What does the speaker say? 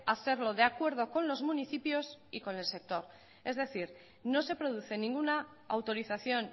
hacerlo de acuerdo con los municipios y con el sector es decir no se produce ninguna autorización